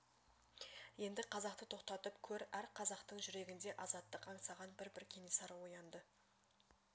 енді қазақты тоқтатып көр әр қазақтың жүрегінде азаттық аңсаған бір-бір кенесары оянды